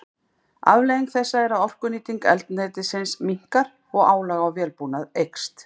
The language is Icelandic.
Afleiðing þessa er að orkunýting eldsneytisins minnkar og álag á vélbúnað eykst.